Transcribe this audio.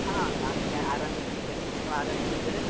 ಹಾ ನಾನ್ ಆರಾಮಿದ್ದೀನಿ sir , ನೀವು ಆರಾಮಿದ್ದೀರಿ sir ?